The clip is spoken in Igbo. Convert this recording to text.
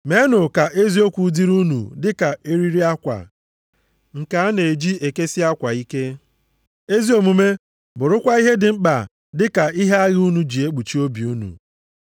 Meenụ ka eziokwu dịrị unu dị ka eriri akwa nke a na-eji ekesi akwa ike, ezi omume bụrụkwa ihe dị mkpa dị ka ihe agha unu ji ekpuchi obi unu.